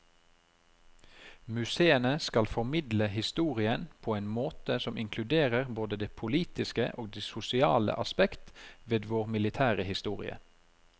Museene skal formidle historien på en måte som inkluderer både det politiske og det sosiale aspekt ved vår militære historie.